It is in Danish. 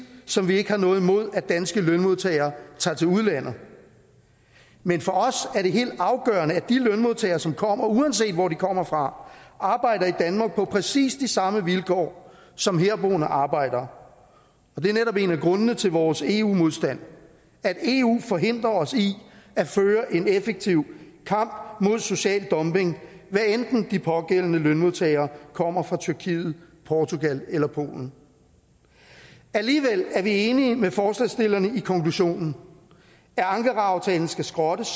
som vi ikke har noget imod at danske lønmodtagere tager til udlandet men for os er det helt afgørende at de lønmodtagere som kommer uanset hvor de kommer fra arbejder i danmark på præcis de samme vilkår som herboende arbejdere og det er netop en af grundene til vores eu modstand at eu forhindrer os i at føre en effektiv kamp mod social dumping hvad enten de pågældende lønmodtagere kommer fra tyrkiet portugal eller polen alligevel er vi enige med forslagsstillerne i konklusionen at ankaraaftalen skal skrottes